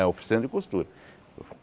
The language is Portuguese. É, a oficina de costura.